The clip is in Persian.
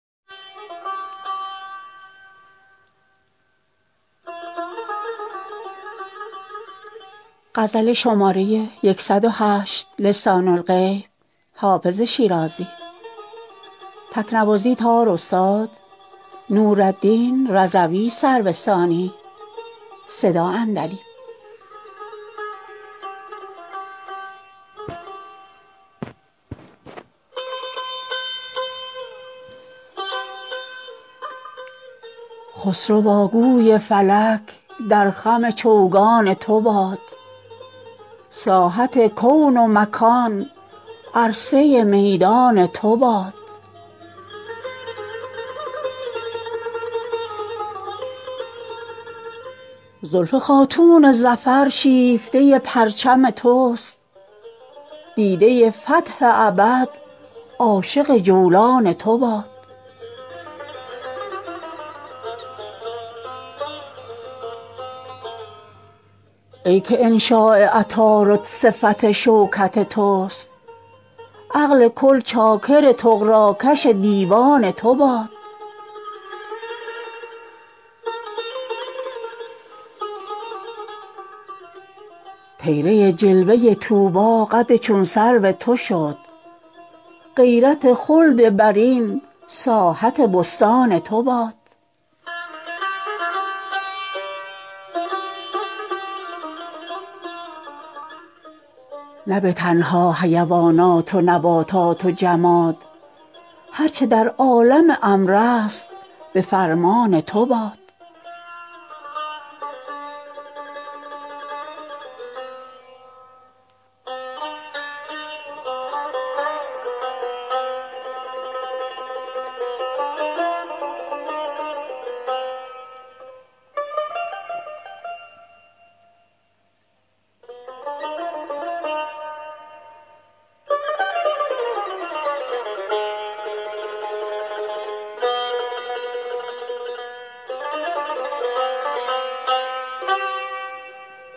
خسروا گوی فلک در خم چوگان تو باد ساحت کون و مکان عرصه میدان تو باد زلف خاتون ظفر شیفته پرچم توست دیده فتح ابد عاشق جولان تو باد ای که انشاء عطارد صفت شوکت توست عقل کل چاکر طغراکش دیوان تو باد طیره جلوه طوبی قد چون سرو تو شد غیرت خلد برین ساحت بستان تو باد نه به تنها حیوانات و نباتات و جماد هر چه در عالم امر است به فرمان تو باد